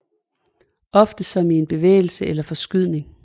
Ofte som i en bevægelse eller forskydning